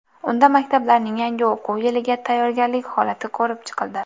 Unda maktablarning yangi o‘quv yiliga tayyorgarlik holati ko‘rib chiqildi.